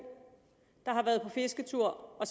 der har været på fisketur og